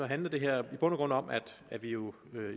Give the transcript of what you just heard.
handler det her i bund og grund om at vi jo